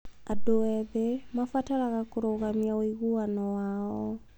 Andũ ethĩ mabataraga kũrũgamia ũiguano wao.